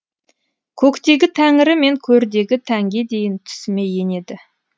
көктегі тәңірі мен көрдегі тәнге дейін түсіме енеді